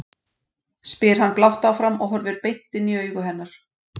spyr hann blátt áfram og horfir beint inn í augu hennar.